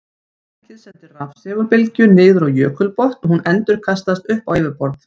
Tækið sendir rafsegulbylgju niður á jökulbotn og hún endurkastast upp á yfirborð.